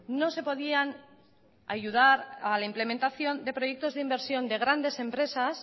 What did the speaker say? no se podían ayudar a la implementación de proyectos de inversión de grandes empresas